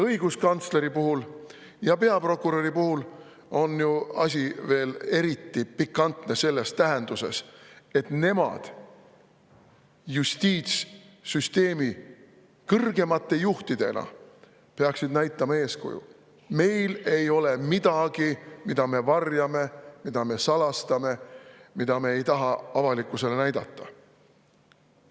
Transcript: Õiguskantsleri ja peaprokuröri puhul on ju asi veel eriti pikantne selles tähenduses, et nemad justiitssüsteemi kõrgeimate juhtidena peaksid näitama eeskuju, et neil ei ole midagi, mida peaks varjama, mida peaks salastama, mida ei peaks tahtma avalikkusele näidata.